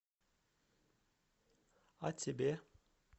а тебе